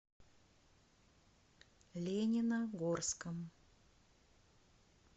лениногорском